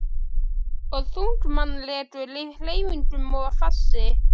Og þunglamalegur í hreyfingum og fasi.